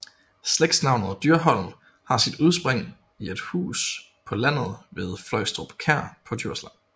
Slægtsnavnet Dyrholm har sit udspring i et hus på landet ved Fløjstrup Kær på Djursland